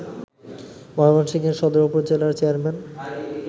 ময়মনসিংহের সদর উপজেলার চেয়ারম্যান